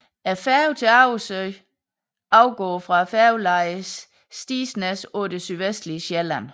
Færgen til Agersø afgår fra færgelejet Stigsnæs på det sydvestlige Sjælland